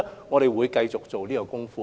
我們會繼續在這方面做工夫。